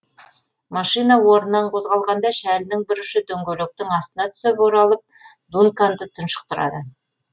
машина орнынан қозғалғанда шәлінің бір ұшы дөңгелектің астына түсіп оралып дунканды тұншықтырады